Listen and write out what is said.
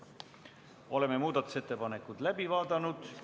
Oleme muudatusettepanekud läbi vaadanud.